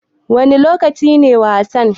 Wanne lokaci ne wasan?